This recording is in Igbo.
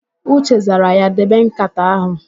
Uche zara ya, "debe ǹkàtà áhụ̀"!